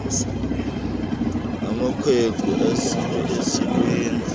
amakhwenkwe asiwe esikweni